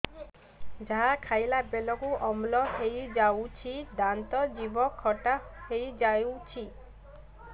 ଯାହା ଖାଇଲା ବେଳକୁ ଅମ୍ଳ ହେଇଯାଉଛି ଦାନ୍ତ ଜିଭ ଖଟା ହେଇଯାଉଛି